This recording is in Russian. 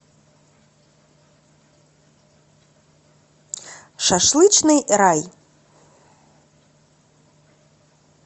шашлычный рай